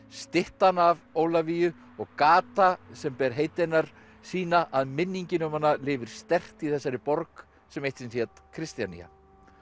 styttan af Ólafíu og gata sem ber heiti hennar sýna að minningin um hana lifir sterkt í þessari borg sem eitt sinn hét Kristjanía